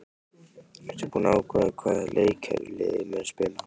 Ertu búinn að ákveða hvaða leikkerfi liðið mun spila?